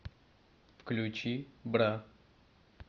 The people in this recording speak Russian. включи бра